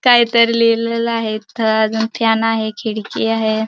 काहीतरी लिहलेलं आहे इथे अजुन फॅन आहे खिडकी आहे.